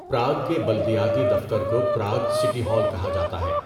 Prague کے بلدیاتی دفتر کو پراگ سٹی ہال کہا جاتا ہے۔